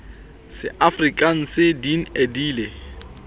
seafrikanse din e di le